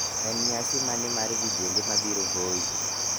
en nyasi mane mar vijende ma biro voi